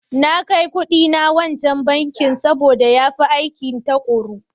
Na kai kuɗina wancan bankin sabo da ya fi aikin tukuru.